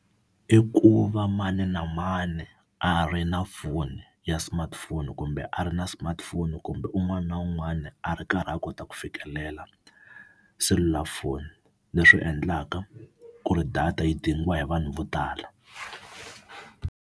I ku va mani na mani a ri na foni ya smartphone kumbe a ri na smartphone, kumbe un'wana na un'wana a ri karhi a kota ku fikelela selulafoni leswi endlaka ku ri data yi dingiwa hi vanhu vo tala.